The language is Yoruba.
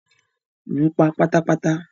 Lù pa pátàpàtà!